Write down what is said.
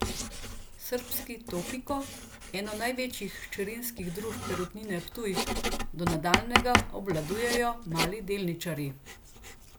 Srbski Topiko, eno največjih hčerinskih družb Perutnine Ptuj, do nadaljnjega obvladujejo mali delničarji.